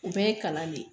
U bɛɛ ye kalan le ye